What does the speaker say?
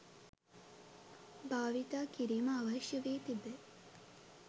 භාවිතා කිරීම අවශ්‍ය වී තිබේ